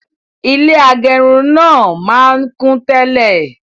Ilé agẹrun náà máa n kún tẹ́lẹ̀